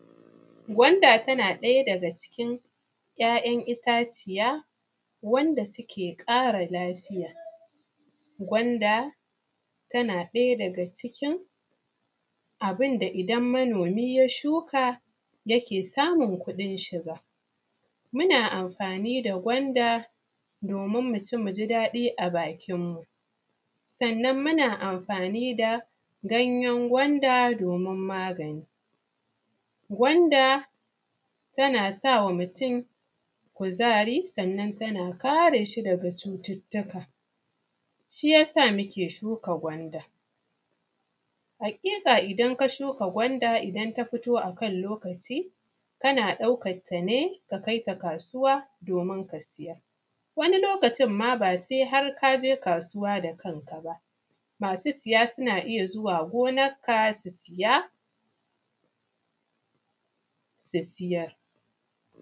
Gwanda tana ɗaya daga cikin ‘ya’yan itaciya wanda suke ƙara lafiya, gwanda tana ɗaya daga cikin abun da idan manomi ya shuka yake samun kuɗin shiga, muna amfani da gwanda domin mu ci, mu ji daɗi na bakinmu, sannan muna amfani da ganyen gwanda domin ganyen magani, gwanda tana sa ma mutum kuzari, sannan tana kare shi daga cututtuka, shi yasa muke shuka gwanda. Haƙiƙa idan ka shuka gwanda idan ta fito a kan lokaci kana ɗaukanta ne ka kai kasuwa domin ka siyar, wani lokacin ma ba har se ka je kasuwa da kanka ba, masu siya suna iya zuwa gonanka su siya su siyar.